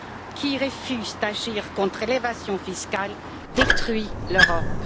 Qui refuse d'agir contre l'évasion fiscale détruit l'Europe!